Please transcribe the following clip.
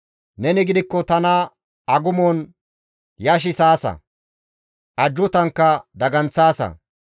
Neni gidikko tana agumon yashissaasa; ajjuutankka daganththaasa.